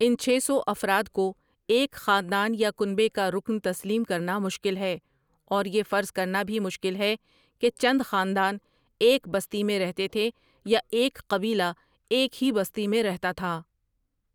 ان چھ سو افراد کو ایک خاندان یا کنبے کا رکن تسلیم کرنا مشکل ہے اور یہ فرض کرنا بھی مشکل ہے کہ چند خاندان ایک بستی میں رہتے تھے یا ایک قبیلہ ایک ہی بستی میں رہتا تھا۔